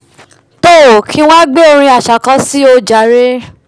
toò kí ng wá gbé orin aṣa kan síi ojàre